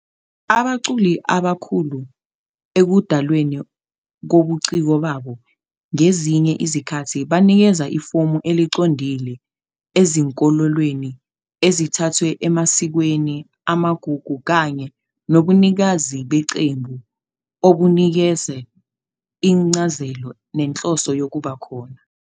Abaculi abakhulu ekudalweni kobuciko babo ngezinye izikhathi banikeza ifomu eliqondile ezinkolelweni ezithathwe emasikweni, amagugu, kanye nobunikazi beqembu obunikeza incazelo nenhloso yokuba khona.